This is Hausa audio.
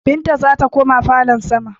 Binta zata koma falon sama